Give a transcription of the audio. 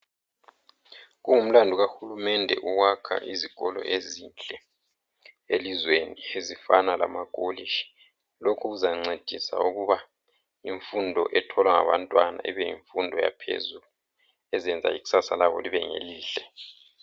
Kungumlandu kahulumende ukwakha izikolo ezinhle elizweni ezifana lamakolitshi. Lokhu kuzancedisa ukuba imfundo etholwa ngabantwana ibe yimfundo yaphezulu ezenza ikusasa labo libe ngelihle.